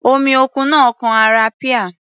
Omi òkun náà kan ara píà.